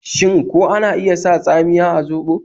Shin ko ana iya sa tsamiya a zoɓo?